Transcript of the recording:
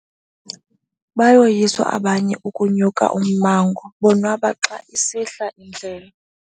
Bayoyiswa abanye ukunya ummango bonwaba xa isihla indlela.